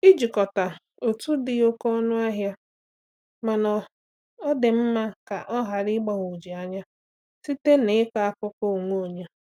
Ijikọta otu dị oké ọnụ ahịa, mana ọ dị mma ka a ghara ịgbagwoju anya site n’ịkọ akụkọ onwe onye.